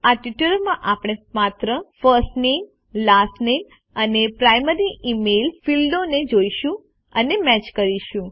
આ ટ્યુટોરીયલ માં આપણે માત્ર ફર્સ્ટ નામે લાસ્ટ નામે અને પ્રાઇમરી ઇમેઇલ ફીલ્ડોને જોઈશું અને મેચ કરીશું